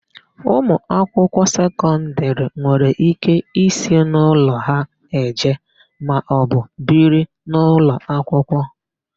Ụmụakwụkwọ sekọndịrị nwere íké isi n'ụlọ ha eje maọbụ biri n'ụlọakwụkwọ.